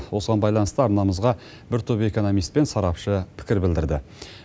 осыған байланысты арнамызға бір топ экономист пен сарапшы пікір білдірді